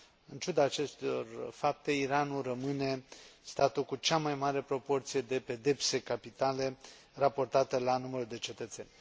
În ciuda acestor fapte, Iranul rămâne statul cu cea mai mare proporție de pedepse capitale, raportată la numărul de cetățeni.